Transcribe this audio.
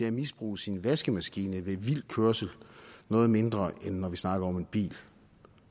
at misbruge sin vaskemaskine ved vild kørsel noget mindre end når vi snakker om en bil